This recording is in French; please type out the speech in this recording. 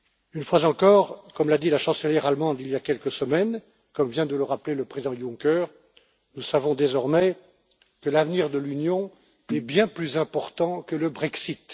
Une fois encore, comme l'a dit la chancelière allemande, il y a quelques semaines et comme vient de le rappeler le président Juncker, nous savons désormais que l'avenir de l'Union est bien plus important que le Brexit.